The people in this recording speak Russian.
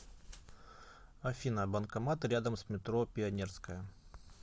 афина банкоматы рядом с метро пионерская